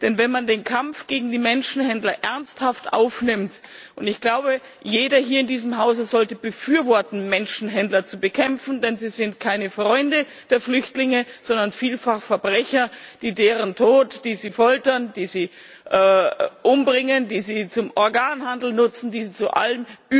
Denn wenn man den Kampf gegen die Menschenhändler ernsthaft aufnimmt und ich glaube, jeder hier in diesem Hause sollte befürworten, Menschenhändler zu bekämpfen, denn sie sind keine Freunde der Flüchtlinge, sondern vielfach Verbrecher, die deren Tod in Kauf nehmen, die sie foltern, die sie umbringen, die sie zum Organhandel nutzen, die sie zu allen